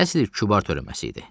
Əsl kübar törəməsi idi.